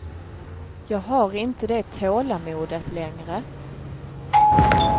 Jag har inte det tålamodet längre.